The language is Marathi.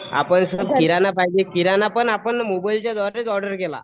आपणास किराणा पाहिजे किराणा पण आपण मोबाईलच्या द्वारेच ऑर्डर केला.